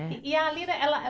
E a Lina, ela ela